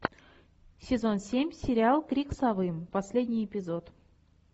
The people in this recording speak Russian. сезон семь сериал крик совы последний эпизод